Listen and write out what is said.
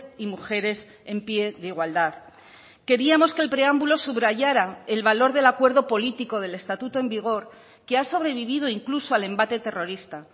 y mujeres en pie de igualdad queríamos que el preámbulo subrayara el valor del acuerdo político del estatuto en vigor que ha sobrevivido incluso al embate terrorista